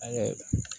Angɛrɛ